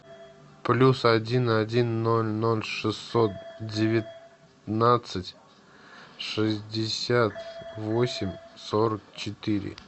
плюс один один ноль ноль шестьсот девятнадцать шестьдесят восемь сорок четыре